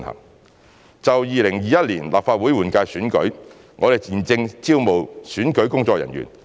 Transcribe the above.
三就2021年立法會換屆選舉，我們現正招募選舉工作人員。